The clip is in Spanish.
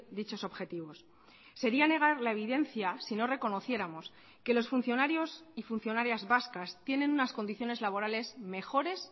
dichos objetivos sería negar la evidencia sino reconociéramos que los funcionarios y funcionarias vascas tienen unas condiciones laborales mejores